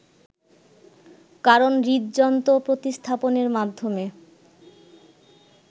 কারণ হৃদযন্ত্র প্রতিস্থাপনের মাধ্যমে